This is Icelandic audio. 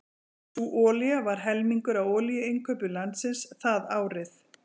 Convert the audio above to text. Sú olía var helmingur af olíuinnkaupum landsins það árið.